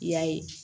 I y'a ye